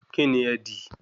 Kínní ẹ dì?